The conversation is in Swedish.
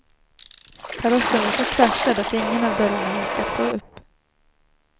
Karossen var så kraschad att ingen av dörrarna gick att få upp.